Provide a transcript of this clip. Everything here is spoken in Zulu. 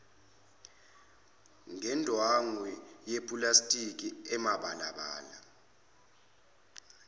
ngendwangu yepulasitiki emabalabala